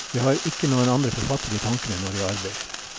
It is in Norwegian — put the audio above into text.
Jeg har ikke noen andre forfattere i tankene når jeg arbeider.